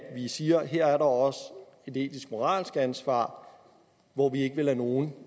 vi siger at her er der også et etisk og moralsk ansvar hvor vi ikke vil lade nogen